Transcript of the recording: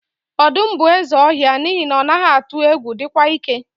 Ọdụm bụ eze ọhịa n'ihi na ọ naghị atụ egwu, dịkwa ike.